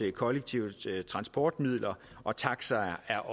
at kollektive transportmidler og taxaer er